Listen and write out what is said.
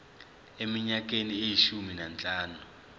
eminyakeni eyishumi nanhlanu